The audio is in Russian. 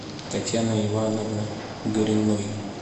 татьяны ивановны гориной